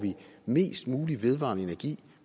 mest mulig vedvarende energi